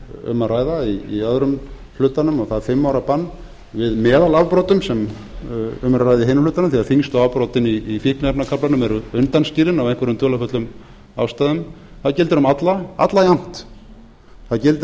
hér er um að ræða í öðrum hlutanum og það fimm ára bann við meðalafbrotum sem um er að ræða í hinum hlutanum þegar þyngstu afbrotin í fíkniefnakaflanum eru undanskilin af einhverjum dularfullu ástæðum það gildir um alla jafnt það gildir